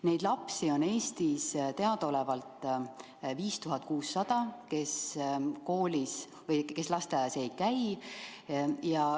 Neid selles vanuses lapsi, kes lasteaias ei käi, on Eestis teadaolevalt 5600.